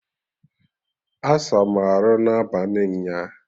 Asa m arụ n'abalị nyaa!